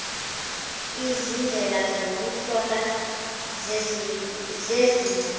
izindlela zokuhlola zezinga